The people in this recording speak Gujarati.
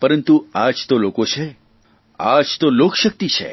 પરંતુ આ જ તો લોકો છે આ જ તો લોકશકિત છે